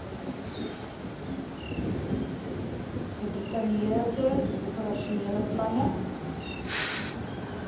gedetailleerde operasionele planne